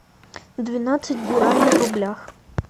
двенадцать гуарани в рублях